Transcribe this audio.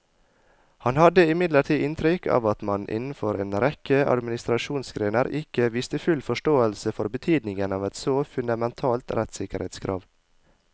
Han hadde imidlertid inntrykk av at man innenfor en rekke administrasjonsgrener ikke viste full forståelse for betydningen av et så fundamentalt rettssikkerhetskrav.